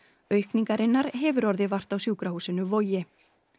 aukningarinnar hefur orðið vart á sjúkrahúsinu Vogi